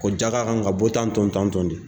Ko jaka kan ka bɔ tan to tan tɔn de.